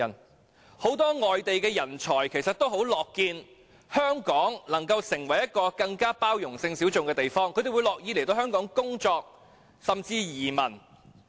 其實很多外地人才也很樂見香港成為一個對性小眾更有包容性的地方，他們樂於來港工作，甚至移民。